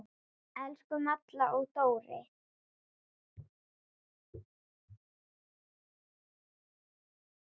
Elsku Malla og Dóri.